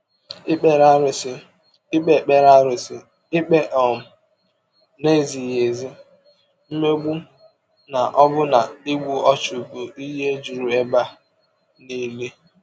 Ikpere arụsị, ikpe Ikpere arụsị, ikpe um na-ezighị ezi, mmegbu, na ọbụna igbu ọchụ bụ ihe juru ebe nile.